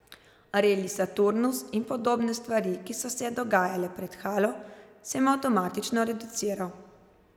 Reli Saturnus in podobne stvari, ki so se dogajale pred halo, sem avtomatično reduciral.